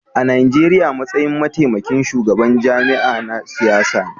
A Nijeriya, matsayin mataimakin shugaban jami'a na siyasa ne